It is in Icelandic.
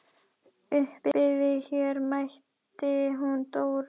Uppi við Her mætti hún Dóra.